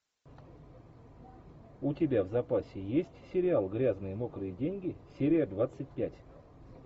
у тебя в запасе есть сериал грязные мокрые деньги серия двадцать пять